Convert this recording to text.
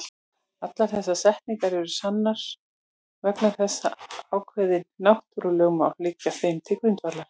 Allar þessar setningar eru sannar vegna þess að ákveðin náttúrulögmál liggja þeim til grundvallar.